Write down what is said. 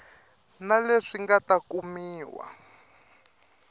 na leswi nga ta kumiwa